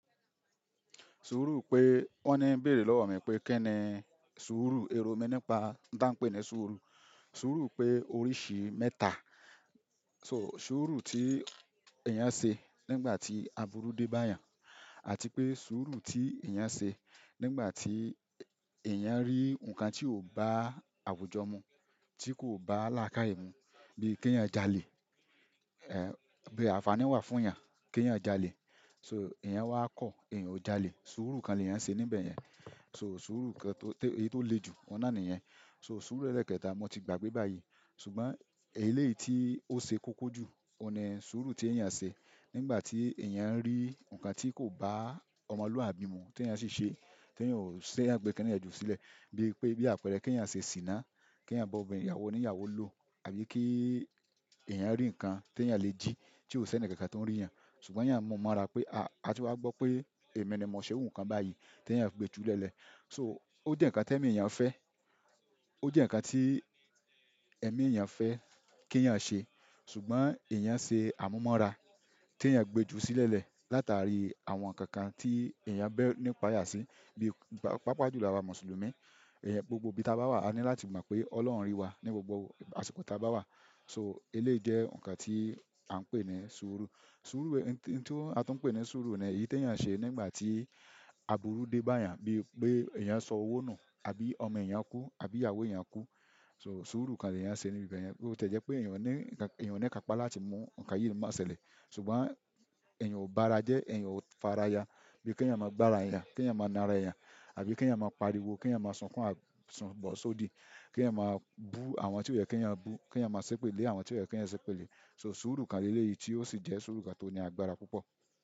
Sùúrù pé wọ́n ní bèrè lọ́wọ́ mi pé kíni sùúrù, èrò mi nípa ǹtá pé ni sùúrù. Sùúrù pé orísìí mẹ́ta so sùúrù tí èèyàn ṣe nígbà tí aburú dé bá èèyàn àti pé sùúrù tí èèyàn ṣe nígbà tí èèyàn rí nǹkan tí ò bá àwùjọ mu, tí kò bá làákàyè mu bíi kí èèyàn jalè, ẹ́ bí àǹfàní wà fún èèyàn kééyàn jalè. So èèyàn wá kọ̀, èèyàn ò jalè. Sùúrù kan ni èèyàn ṣe níbẹ̀ yẹn. So sùúrù kan tó, èyí tó le jù, òun nà ní yẹn. So sùúrù ẹlẹ́ẹ̀kẹta, mo ti gbàgbé báyìí ṣùgbọ́n èyí léyìí tí ó ṣe koko jù, òun ni sùúrù tí èèyàn ṣe nígbà tí èèyàn rí nǹkan tí kò bá ọmọlúwàbí mu tí èèyàn ṣi ṣe, tí èèyàn ò ṣẹ̀, tí èèyàn gbé kini yẹ́n jú sílẹ̀ bíi pé bí àpẹẹrẹ kééyàn ṣe sìnà, kééyàn ba obìnrin ìyàwóoníyàwó lo tàbí ki èèyàn ri nkán ti èèyàn le ji tí ò sí ẹnìkankan to ń ríyàn ṣùgbọ́n yan mu mọ́ra pe, ah a ti wa gbọ́ pé èmi ni mo se irú nkán báyìí, tí èèyàn gbe ju nlèńlè so ó jẹ́ nǹkan t'ẹ̀mí èèyàn fẹ́, ó jẹ́ nǹkan tí ẹ̀mí èèyàn fẹ́ kí èèyàn ṣe ṣùgbọ́n èèyàn ṣe àmúmọ́ra t'èèyàn gbé e jù sílẹ̀lẹ̀ látàrí àwọn nǹkan kan tí èèyàn bẹ̀ nípa yà sí bíi pápá jùlọ̀. Àwa Mùsùlùmí, èèyàn gbogbo ibi tí a bá wà a ní láti mọ̀ pé Ọlọ́run rí wa ní gbogbo àsìkò tí a bá wà. So eléyìí lé jẹ́ nǹkan tí à ń pè ní sùúrù. Sùúrù, nǹkan tí a tún pè ní sùúrù ní èyí tí èèyàn ṣe nígbà tí aburú dé bá èèyàn bíi pé èèyàn sọ owó nù àbí ọmọ èèyàn kú àbí ìyàwó èèyàn kú. So sùúrù kan ni èèyàn ṣe níbẹ̀ yẹn. BÓ tiẹ̀ jẹ́ pé èèyàn ní, èèyàn ní kápa láti mú nǹkan yìí má ṣẹlẹ̀ ṣùgbọ́n èèyàn ò bá ara jẹ́, èèyàn ò fara ya bíi kí èèyàn máa gbá ara èèyàn, kí èèyàn máa na ara èèyàn àbí kí èèyàn máa pariwo, kí èèyàn máa sunkún, bọ́ sódìí, kí èèyàn máa bú àwọn tí ó yẹ kí èèyàn bú, kí èèyàn máa sépè lé àwọn tí ò yẹ kí èèyàn sépè lé. So sùúrù kan léyìí tí ó sì jẹ́ sùúrù kan tó ní agbára púpọ̀.